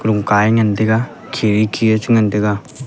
kha a ngan tega khe wai khe le chi ngan tega.